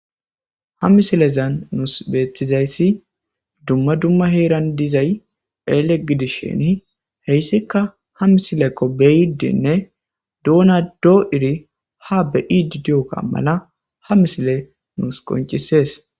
Ha missilezan nusi bettizayisi duma duma heran dizzay Elle gidishini heyssika ha mmissilko ha beyidine doona do'idi ha be'idi diyogga mala ha missiley nusi qonccises.